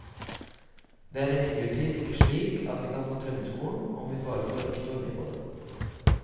Det er imidlertid ikke slik at vi kan få drømmeskolen om vi bare får rektor med på det.